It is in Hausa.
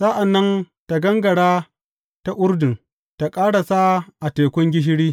Sa’an nan tă gangara ta Urdun, tă ƙarasa a Tekun Gishiri.